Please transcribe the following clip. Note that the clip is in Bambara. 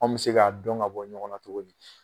Anw bɛ se k'a dɔn ka bɔ ɲɔgɔnna cogo di ?